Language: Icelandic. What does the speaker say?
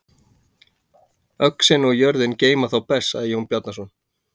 Öxin og jörðin geyma þá best, sagði Jón Bjarnason.